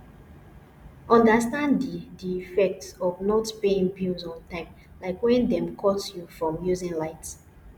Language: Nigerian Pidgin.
understand di di effect of not paying bills on time like when dem cut you from using light